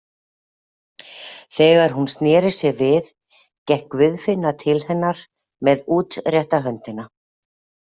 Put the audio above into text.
Þegar hún sneri sér við gekk Guðfinna til hennar með útrétta höndina.